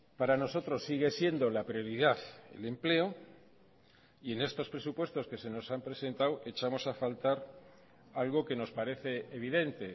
para nosotros sigue siendo la prioridad el empleo y en estos presupuestos que se nos han presentado echamos a faltar algo que nos parece evidente